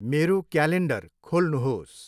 मेरो क्यालेन्डर खोल्नुहोस्।